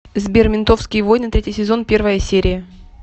сбер ментовские войны третий сезон первая серия